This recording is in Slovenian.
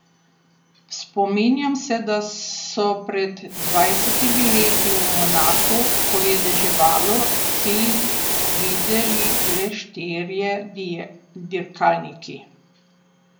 Spominjam se, da so pred dvajsetimi leti v Monaku, ko je deževalo, cilj videli le štirje dirkalniki.